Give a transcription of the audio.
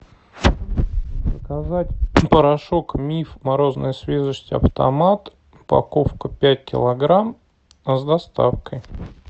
заказать порошок миф морозная свежесть автомат упаковка пять килограмм с доставкой